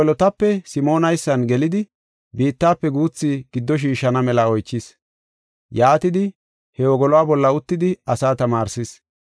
He wogolotape Simoonaysan gelidi biittafe guuthi giddo shiishana mela oychis. Yaatidi, he wogoluwa bolla uttidi asaa tamaarsis.